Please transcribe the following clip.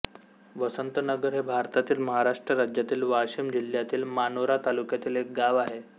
वसंतनगर हे भारतातील महाराष्ट्र राज्यातील वाशिम जिल्ह्यातील मानोरा तालुक्यातील एक गाव आहे